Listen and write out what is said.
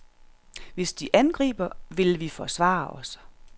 Hvis de angriber, vil vi forsvare os.